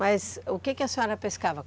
Mas o quê que a senhora pescava?